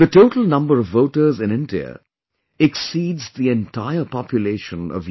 The total number of voters in India exceeds the entire population of Europe